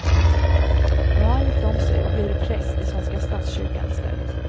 Nu har han gift om sig och blir präst i svenska statskyrkan i stället.